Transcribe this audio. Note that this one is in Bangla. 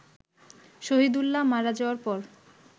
শহীদুল্লাহ মারা যাওয়ার পর